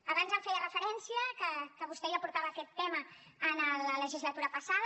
abans em feia referència que vostè ja portava aquest tema en la legislatura passada